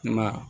I ma ye